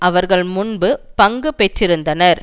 அவர்கள் முன்பு பங்கு பெற்றிருந்தனர்